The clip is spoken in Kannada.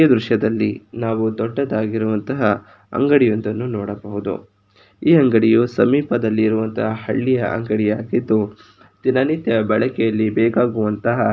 ಈ ದೃಶ್ಯದಲ್ಲಿ ನಾವು ದೊಡ್ಡದಾಗಿರುವಂತಹ ಅಂಗಡಿ ಒಂದನ್ನು ನಾವು ನೋಡಬಹುದು. ಈ ಅಂಗಡಿಯೂ ಸಮೀಪದಲ್ಲಿರುವಂತಹ ಹಳ್ಳಿಯ ಅಂಗಡಿಯಾಗಿದ್ದು ದಿನನಿತ್ಯ ಬಳಕೆಯಲ್ಲಿ ಬೇಕಾಗಿರುವಂತಹ --